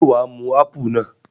Ṣé wà á mu ápù náà?